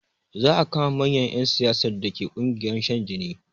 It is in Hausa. Za a kama manyan ƴan siyasar dake ƙungiyar shan jini